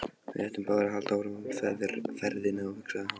Við ættum báðir að halda áfram ferðinni, hugsaði hann.